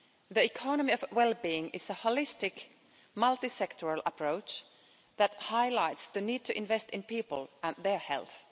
The economy of well being is a holistic, multi sectoral approach that highlights the need to invest in people and their health.